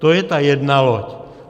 To je ta jedna loď.